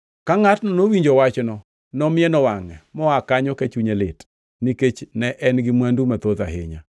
Ka ngʼatno nowinjo wachno, nomieno wangʼe, moa kanyo ka chunye lit, nikech ne en-gi mwandu mathoth ahinya.